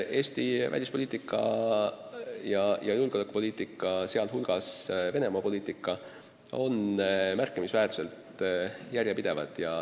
Eesti välispoliitika ja julgeolekupoliitika, sh Venemaa-poliitika, on märkimisväärselt järjepidevad.